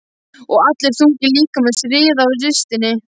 Og allur þungi líkamans riðaði á ristinni.